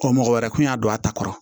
O mɔgɔ wɛrɛ kun y'a don a ta kɔrɔ